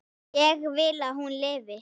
Ég vil að hún lifi.